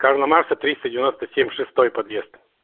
карла маркса триста девяеносто семь шестой подъезд